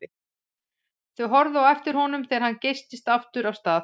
Þau horfðu á eftir honum þegar hann geystist aftur af stað.